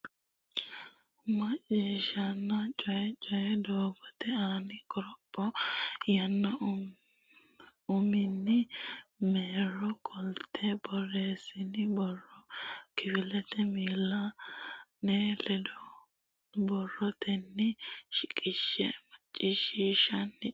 Macciishshanna Coyi Coyi Doogote Aani Qoropho yaanno uminni marro qoltine borreessitini borro kifilete miilla nera bado badotenni shiqishshe Macciishshanna Coyi.